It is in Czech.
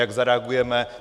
Jak zareagujeme?